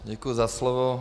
Děkuji za slovo.